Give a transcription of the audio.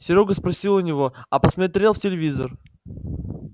серёга спросил у него а посмотрел в телевизор